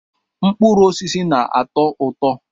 Mkpụrụ osisi na-atọ ụtọ.